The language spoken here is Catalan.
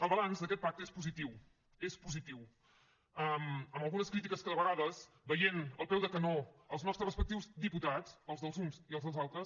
el balanç d’aquest pacte és positiu és positiu amb algunes crítiques que de vegades veient al peu del canó els nostres respectius diputats els dels uns i els dels altres